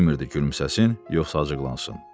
Bilmirdi gülməsin, yoxsa acıqlansın.